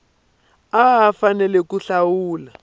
a a fanele ku hlawula